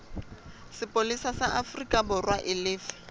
sepolesa sa aforikaborwa e lefe